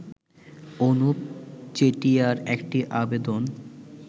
অনুপ চেটিয়ার একটি আবেদন